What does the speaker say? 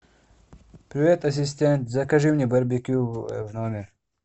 привет ассистент закажи мне барбекю в номер